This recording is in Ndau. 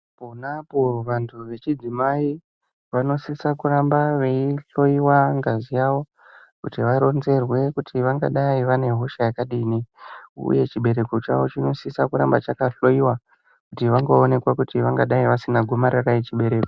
Panapo vantu vechidzimai vanosisa kuramba veihloyiwa ngazi yavo kuti varonzerwe kuti vangadai vanehosha yakadini. Uye chibereko chavo chinosisa kuramba chakahloyiwa kuti vangaonekwa kuti vangadai vasina gomarara rechibereko.